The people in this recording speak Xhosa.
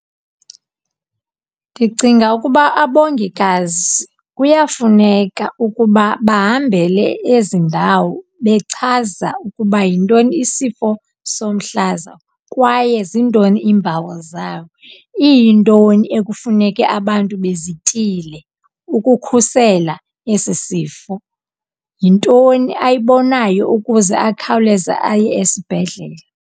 Ndicinga ukuba abongikazi kuyafuneka ukuba bahambele ezi ndawo bechaza ukuba yintoni isifo somhlaza kwaye zintoni iimpawu zayo, iyintoni ekufuneke abantu bezityile ukukhusela esi sifo. Yintoni ayibonayo ukuze akhawuleze aye esibhedlele?